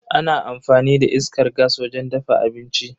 Ana amfani da iskar gas wajen dafa abinci.